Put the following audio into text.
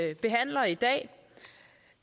vi behandler i dag